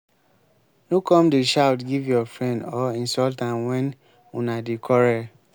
no come dey shout give your friend or insult am wen una dey quarrel.